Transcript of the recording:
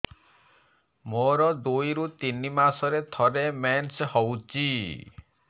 ମୋର ଦୁଇରୁ ତିନି ମାସରେ ଥରେ ମେନ୍ସ ହଉଚି